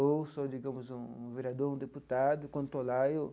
Ou sou, digamos, um vereador, um deputado e, quando estou lá eu,